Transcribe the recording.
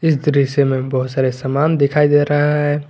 दृश्य में बहोत सारे सामान दिखाई दे रहा है।